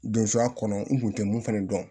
Donso a kɔnɔ n kun tɛ mun fana dɔn